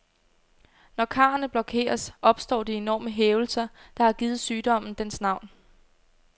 Når karrene blokeres, opstår de enorme hævelser, der har givet sygdommen dens navn.